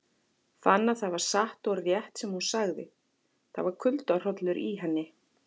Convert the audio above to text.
Fann að það var satt og rétt sem hún sagði, það var kuldahrollur í henni.